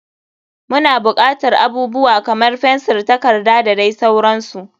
Muna bukatar abubuwa kamar fensir da takarda da dai sauransu.